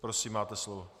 Prosím, máte slovo.